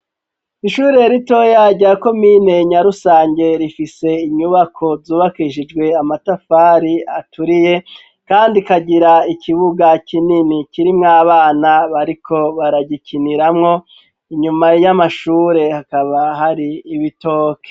Ishure rito rya komine Nyarusange rifise inyubako zubakishijwe amatafari aturiye kandi ikagira ikibuga kinini kirimwo abana bariko baragikiniramwo inyuma y'amashure hakaba hari ibitoke.